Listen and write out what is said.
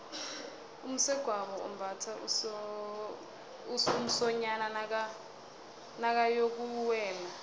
umsegwabo umbatha umsonyani nakayokuwela